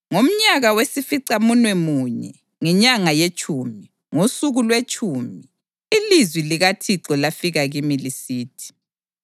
Ngomnyaka wesificamunwemunye, ngenyanga yetshumi, ngosuku lwetshumi, ilizwi likaThixo lafika kimi lisithi: